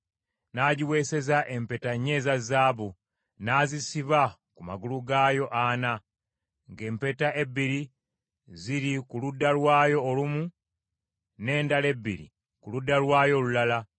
N’agiweeseza empeta nnya eza zaabu, n’azisiba ku magulu gaayo ana, ng’empeta ebbiri ziri ku ludda lwayo olumu n’endala ebbiri ku ludda lwayo olulala.